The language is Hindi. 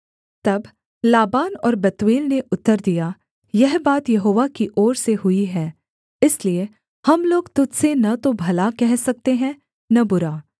तब लाबान और बतूएल ने उत्तर दिया यह बात यहोवा की ओर से हुई है इसलिए हम लोग तुझ से न तो भला कह सकते हैं न बुरा